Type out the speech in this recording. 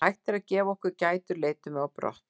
Þegar hann hættir að gefa okkur gætur leitum við á brott.